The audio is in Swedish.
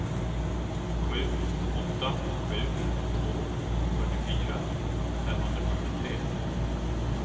sju åtta sju två fyrtiofyra femhundrafyrtiotre